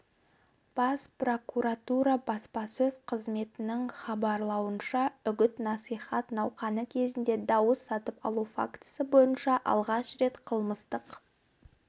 бас прокуратура баспасөз қызметінің хабарлауынша үгіт-насихат науқаны кезінде дауыс сатып алу фактісі бойынша алғаш рет қылмыстық